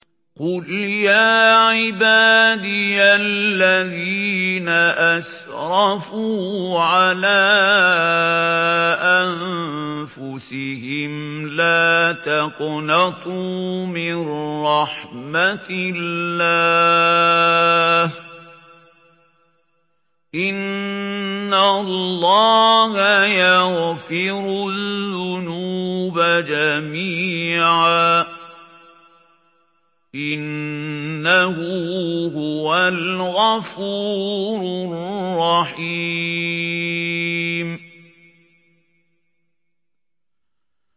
۞ قُلْ يَا عِبَادِيَ الَّذِينَ أَسْرَفُوا عَلَىٰ أَنفُسِهِمْ لَا تَقْنَطُوا مِن رَّحْمَةِ اللَّهِ ۚ إِنَّ اللَّهَ يَغْفِرُ الذُّنُوبَ جَمِيعًا ۚ إِنَّهُ هُوَ الْغَفُورُ الرَّحِيمُ